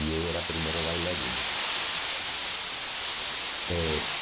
E eu era o primeiro bailarino. Eh